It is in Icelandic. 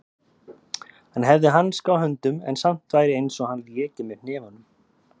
Hann hefði hanska á höndum en samt væri einsog hann léki með hnefunum.